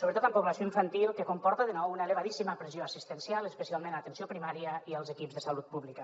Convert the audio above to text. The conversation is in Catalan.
sobretot en població infantil que comporta de nou una elevadíssima pressió assistencial especialment a l’atenció primària i als equips de salut pública